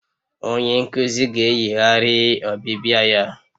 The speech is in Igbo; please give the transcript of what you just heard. Onye nkuzi ga-eyigharị ọbịbịa ya